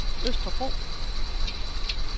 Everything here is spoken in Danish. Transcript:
Østerbro